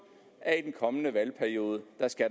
at i den kommende valgperiode